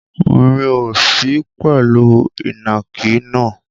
Mo ò sí pẹ̀lú ìnàkí náà.